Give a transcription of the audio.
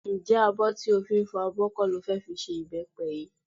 Ǹjẹ́ abọ́ tó fi ń fọ abọ kọ́ ló fẹ́ fi ṣe ìbẹ́pẹ yìí?